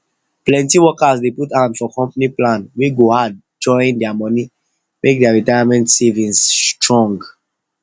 plenty workers dey put hand for company plan wey go add join their money make their retirement savings strong